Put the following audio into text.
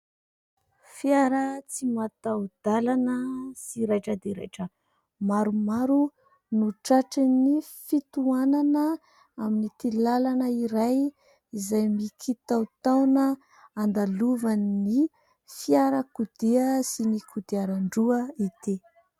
Fiara tsy mataho-dalana sy raitra dia raitra maromaro no tratrin'ny fitoanana amin'ity lalana iray izay mikitaotaona andalovan'ny fiarakodia sy ny kodiaran-droa ity.